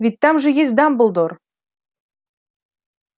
ведь там же есть дамблдор